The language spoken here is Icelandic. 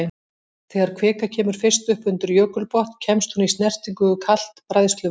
Þegar kvika kemur fyrst upp undir jökulbotn kemst hún í snertingu við kalt bræðsluvatn.